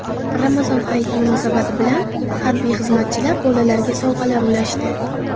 Ramazon Hayiti munosabati bilan harbiy xizmatchilar bolalarga sovg‘alar ulashdi.